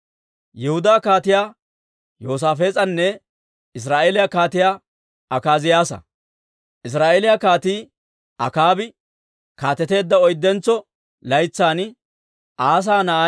Israa'eeliyaa Kaatii Akaabi kaateteedda oyddentso laytsan Asaa na'ay Yoosaafees'e Yihudaan kaateteedda.